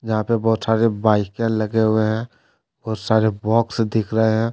जहां पे बहुत सारे बाईकें लगे हुए हैं बहुत सारे बॉक्स दिख रहे है।